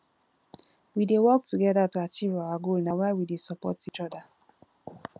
we dey work togeda to achieve our goal na why we dey support each oda